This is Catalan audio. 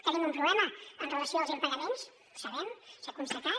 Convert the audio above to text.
tenim un problema amb relació als impagaments ho sabem s’ha constatat